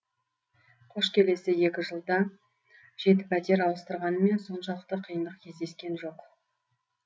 қош келесі екі жылда жеті пәтер ауыстырғанмен соншалықты қиындық кездескен жоқ